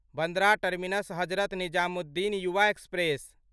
Bandra terminus Hazrat Nizamuddin Yuva express